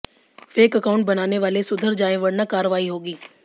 fake account बनाने वाले सुधर जाएं वरना कार्रवाई होगी